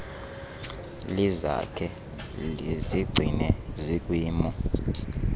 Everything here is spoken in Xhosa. lizakhe lizigcine zikwimo